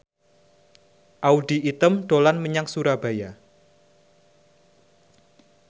Audy Item dolan menyang Surabaya